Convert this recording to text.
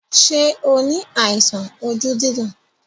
Ṣé o ní àìsàn ojú dídùn?